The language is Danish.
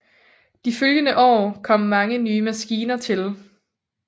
De følgende år kom mange nye maskiner til